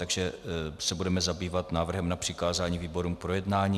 Takže se budeme zabývat návrhem na přikázání výborům k projednání.